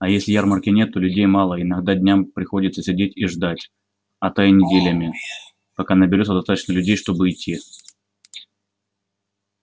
а если ярмарки нет то людей мало и иногда днями приходится сидеть и ждать а то и неделями пока наберётся достаточно людей чтобы идти